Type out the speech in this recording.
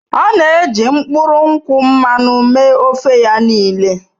Ọ na-eji mkpụrụ nkwụ mmanụ mee ofe ya niile.